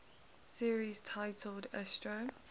series titled astro